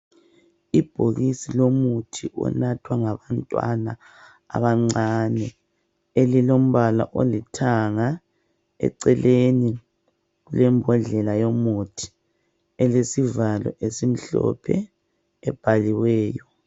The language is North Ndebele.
Ibhokisi lomuthi onathwa ngabantwana abancane elilombala olithanga eceleni kulebhodlela yomuthi elilesivalo esimhlophe ebhaliweyo.